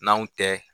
N'anw tɛ